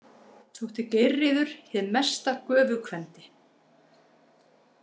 Þótti Geirríður hið mesta göfugkvendi.